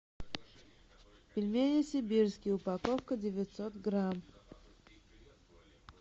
пельмени сибирские упаковка девятьсот грамм